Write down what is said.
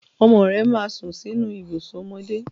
Ọmọ rẹ máa sùn sínú ibùsùn ọmọdé.